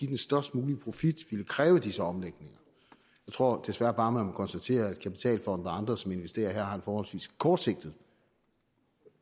den størst mulige profit ville kræve disse omlægninger jeg tror desværre bare at man må konstatere at kapitalfonde og andre som investerer her har et forholdsvis kortsigtet